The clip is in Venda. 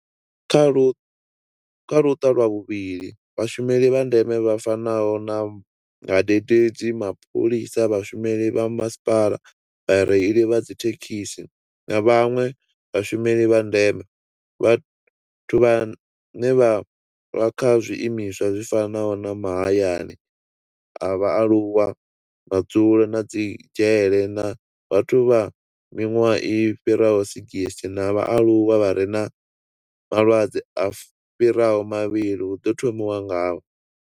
Kha Luṱa lwa vhuvhili, Vhashumeli vha ndeme vha fanaho na vhadededzi, mapholisa, vhashumeli vha masipala, vhareili vha dzithekhisi na vhanwe vhashumeli vha ndeme. Vhathu vhane vha vha kha zwiimiswa zwi fanaho na mahayani a vhaaluwa, madzulo na dzi dzhele na vhathu vha miṅwaha i fhiraho 60 na vhaaluwa vha re na malwadze a fhiraho mavhili hu ḓo thomiwa ngavho.